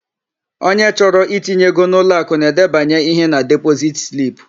Onye chọrọ itinye ego n'ụlọakụ na-edebanye ihe na depozit slip.